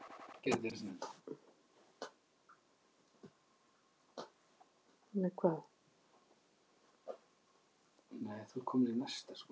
Kristján Már: Er þetta skemmtilegur árstími?